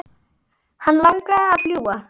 Hann langaði að fljúga.